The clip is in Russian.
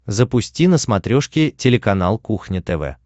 запусти на смотрешке телеканал кухня тв